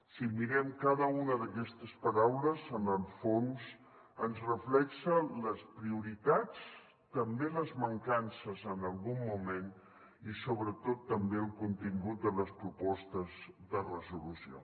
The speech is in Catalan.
si mirem cada una d’aquestes paraules en el fons ens reflecteixen les prioritats també les mancances en algun moment i sobretot també el contingut de les propostes de resolució